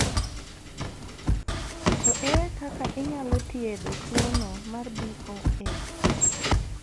To ere kaka inyalo thietho tuo no mar BOS?